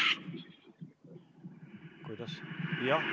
Kuidas?